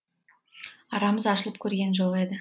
арамыз ашылып көрген жоқ еді